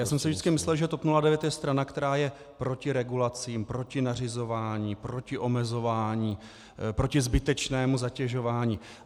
Já jsem si vždycky myslel, že TOP 09 je strana, která je proti regulacím, proti nařizování, proti omezování, proti zbytečnému zatěžování.